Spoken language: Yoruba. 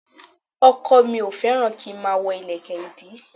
Ọkọ̀ mi ò fẹ́ràn kí n máa wọ ìlẹ̀kẹ̀ ìdí